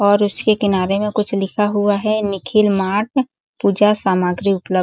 और उसके किनारे में कुछ लिखा हुआ है निखिल मार्ट पूजा सामग्री उपलब्ध --